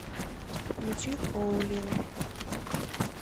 включи хоулил